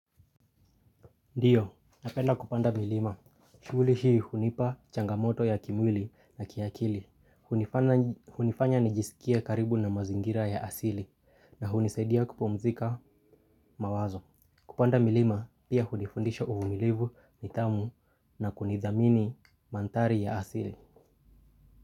Ndio, napenda kupanda milima. Shughuli hii hunipa changamoto ya kimwili na kiakili. Hunifanya nijisikie karibu na mazingira ya asili na hunisaidia kupumzika mawazo. Kupanda milima, pia hunifundisha uvumilivu, nidhamu na kunidhamini mandhari ya asili.